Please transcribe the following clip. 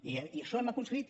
i això ho hem aconseguit